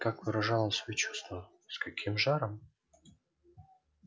как выражал он свои чувства с каким жаром